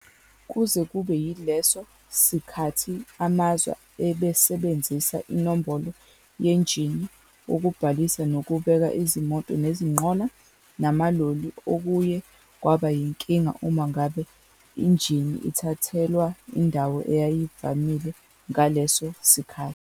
Kuze kube yileso sikhathi, amazwe abesebenzisa inombolo yenjini ukubhalisa nokubeka izimoto nezinqola namaloli okuye kwaba yinkinga uma ngabe injini ithathelwa indawo eyayivamile ngaleso sikhathi.